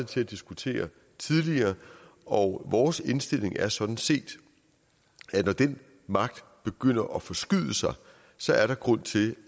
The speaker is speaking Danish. til at diskutere tidligere og vores indstilling er sådan set at når den magt begynder at forskyde sig så er der grund til